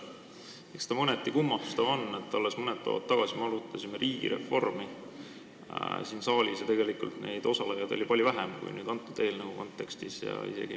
Eks see mõneti kummastav ole, et alles päev tagasi me arutasime siin saalis riigireformi ja osalejaid oli palju vähem kui nüüd selle eelnõu arutelul.